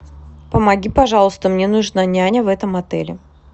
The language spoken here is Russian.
помоги пожалуйста мне нужна няня в этом отеле